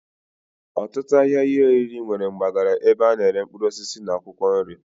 Otutu ahia ihe oriri nwere mgbagara ebe ana ere mkpuruosisi na akwokwo nri.